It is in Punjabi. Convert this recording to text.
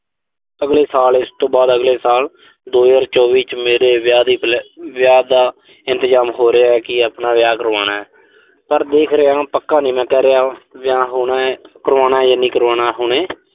ਅਗਲੇ ਸਾਲ ਇਸ ਤੋਂ ਬਾਅਦ ਅਗਲੇ ਸਾਲ ਦੋ ਹਜ਼ਾਰ ਚੌਵੀ ਚ ਮੇਰੇ ਵਿਆਹ ਦੀ ਅਹ ਵਿਆਹ ਦਾ ਇੰਤਜ਼ਾਮ ਹੋ ਰਿਹਾ ਕਿ ਆਪਣਾ ਵਿਆਹ ਕਰਵਾਉਣਾ। ਪਰ ਦੇਖ ਰਿਹਾਂ, ਪੱਕਾ ਨੀਂ ਮੈਂ ਕਹਿ ਰਿਹਾ, ਵਿਆਹ ਹੋਣਾ, ਕਰਾਉਣ ਜਾਂ ਨਹੀਂ ਕਰਵਾਉਣਾ ਹੁਣੇ